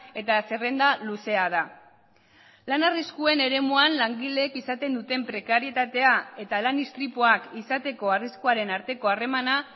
eta zerrenda luzea da lan arriskuen eremuan langileek izaten duten prekarietatea eta lan istripuak izateko arriskuaren arteko harremana